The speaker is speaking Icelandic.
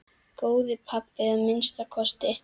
Góður pabbi að minnsta kosti.